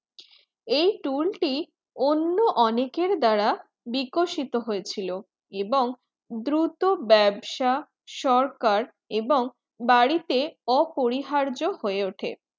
এই tool টি অন্য অনেকের দ্বারা বিকশিত হয়েছিল এবং দ্রুত ব্যবসা সরকার এবং বাড়িতে অপরিহার্য হয়ে ওঠে